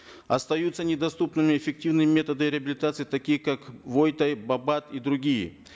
остаются недоступными эффективные методы реабилитации такие как и другие